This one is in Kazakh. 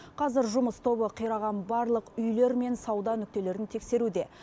қазір жұмыс тобы қираған барлық үйлер мен сауда нүктелерін тексеруде